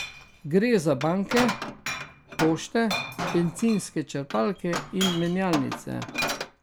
Gre za banke, pošte, bencinske črpalke in menjalnice.